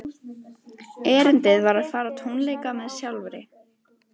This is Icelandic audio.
Erindið var að fara á tónleika með sjálfri